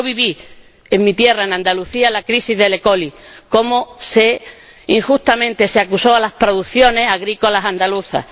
Yo viví en mi tierra, en Andalucía, la crisis de la E. coli cómo, injustamente, se acusó a las producciones agrícolas andaluzas.